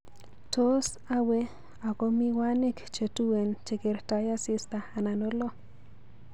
Tos awe ako miwanik chetuen chegertoi asista anan olo